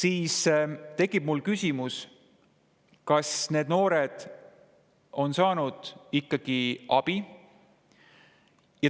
Mul tekib küsimus, kas need noored on saanud ikkagi abi.